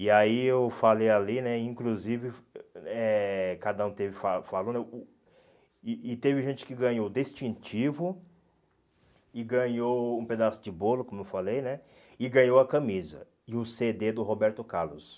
E aí eu falei ali né, e inclusive, eh cada um teve fa falou né, e e teve gente que ganhou o distintivo e ganhou um pedaço de bolo, como eu falei né, e ganhou a camisa e o cê dê do Roberto Carlos.